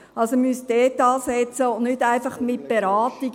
Also, man müsste dort ansetzen und nicht einfach bei der Beratung.